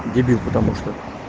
дебил потому что